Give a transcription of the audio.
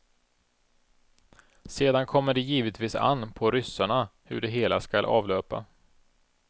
Sedan kommer det givetvis an på ryssarna hur det hela skall avlöpa.